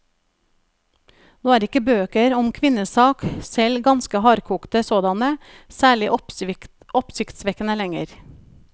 Nå er ikke bøker om kvinnesak, selv ganske hardkokte sådanne, særlig oppsiktsvekkende lenger.